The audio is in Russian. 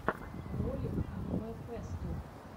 ролик аниме фэсту